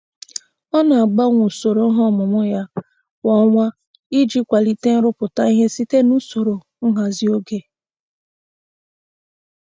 Ọ na-agbanwe usoro ihe omume ya kwa ọnwa iji kwalite nrụpụta ihe site n'usoro nhazi oge.